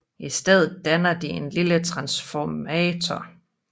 I stedet danner de en lille transformator